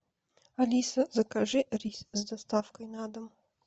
алиса закажи рис с доставкой на дом